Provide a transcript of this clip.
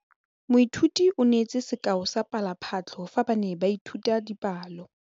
Moithuti o neetse sekaô sa palophatlo fa ba ne ba ithuta dipalo.